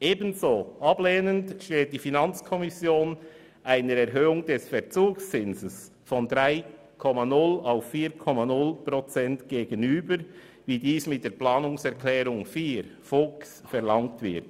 Ebenso ablehnend steht die FiKo einer Erhöhung des Verzugszinses von 3,0 auf 4,0 Prozent gegenüber, wie dies mit der Planungserklärung 4 von Grossrat Fuchs verlangt wird.